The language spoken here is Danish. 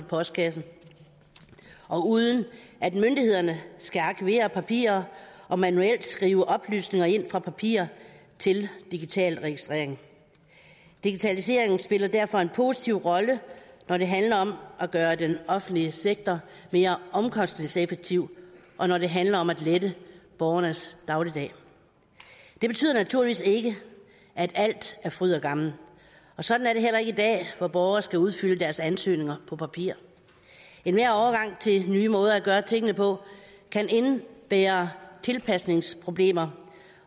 postkassen og uden at myndighederne skal arkivere papirer og manuelt skrive oplysninger ind fra papirer til digital registrering digitaliseringen spiller derfor en positiv rolle når det handler om at gøre den offentlige sektor mere omkostningseffektiv og når det handler om at lette borgernes dagligdag det betyder naturligvis ikke at alt er fryd og gammen og sådan er det heller ikke i dag hvor borgere skal udfylde deres ansøgninger på papir enhver overgang til nye måder at gøre tingene på kan indebære tilpasningsproblemer